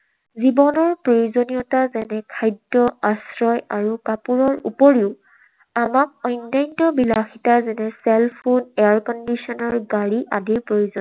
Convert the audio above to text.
জীৱনৰ প্ৰয়োজনীয়তা যেনে খাদ্য, আশ্ৰয় আৰু কাপোৰৰ উপৰিও আমাক অন্যান্য বিলাসিতাৰ যেনে cellphone, air conditioner, গাড়ী আদিৰ প্ৰয়োজন।